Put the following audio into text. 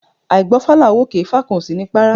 Áì gbọ́fá là ń wòkè ifá kan ò sini párá